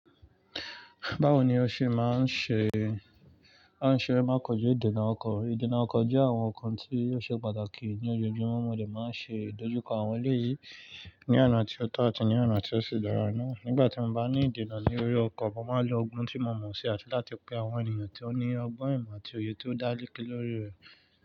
Báwo ni o ṣe máa ń ṣe, a ṣe máa kọjá ìdènà ọkọ̀. Ìdènà ọkọ̀ jẹ́ àwọn nǹkan tí ó ṣe pàtàkì ní ojojúmọ́, wọ́n le máa ń ṣe ìdojúkọ àwọn ọ̀rẹ́ yìí ní ọ̀nà tí ó tọ́ àti ní ọ̀nà tí ó ṣe dára náà. Nígbà tí mo bá ní ìdènà ní orí ọkọ̀, mo máa lo ogun tí mo mọ̀ sí àti láti pe àwọn ènìyàn tí ó ní ọgbọ́n ìmọ̀ àti òye tó dá léké lórí rẹ̀.